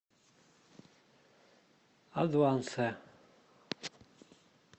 адвансе